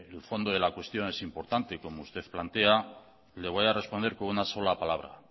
el fondo de la cuestión es importante como usted plantea le voy a responder con una sola palabra